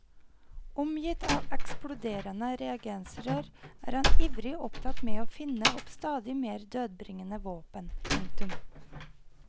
Omgitt av eksploderende reagensrør er han ivrig opptatt med å finne opp stadig mer dødbringende våpen. punktum